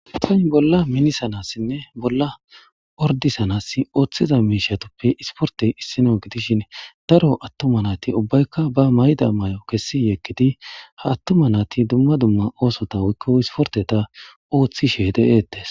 Asayi bolla minisanasine bolla ordisanasi oththid mishape issoyi issiportiya issino giddishin daro atuma nayiti ubbayika ba mayido mayo kesi yeggidi ha atuma nati dumma dumma osota oththishe dees